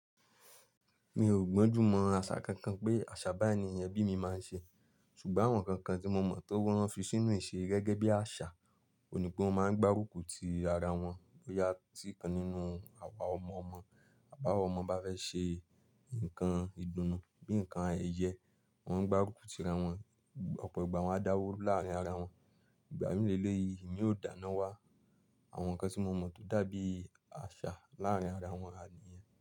Mi ò gbọ́njú mọ asà kankan pé àṣà báńiẹ̀niyẹn bí mi máa ń ṣe, ṣùgbọ́n àwọn kankan tí mo mọ̀ tó wọ́n fi sínú ìṣe gẹ́gẹ́ bí àṣà, òní pé wọ́n máa ń gbárùkù ti ara wọn. Boyá tí kan nínú àwa ọmọ-ọmọ, àbá wà ọmọ bá fẹ́ ṣe nǹkan ìdùnnú bíi nǹkan ayẹyẹ, wọ́n gbárùkù ti ara wọn, ọ̀pọ̀ ìgbà wọ́n á dáwó láàrín ara wọn. Ìgbà mí lé lé yìí, ì mìí ò dáná wá àwọn nǹkan tí mo mọ̀ tó dàbí àṣà láàrín ara wọn àníyẹn.